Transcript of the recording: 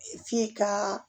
F'i ka